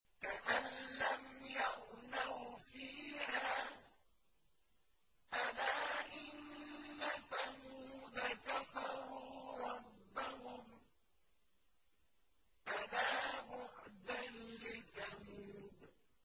كَأَن لَّمْ يَغْنَوْا فِيهَا ۗ أَلَا إِنَّ ثَمُودَ كَفَرُوا رَبَّهُمْ ۗ أَلَا بُعْدًا لِّثَمُودَ